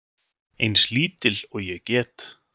Eins lítil og ég get.